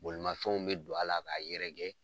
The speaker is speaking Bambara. Bolimanfɛnw bɛ don a la k'a yɛrɛkɛ.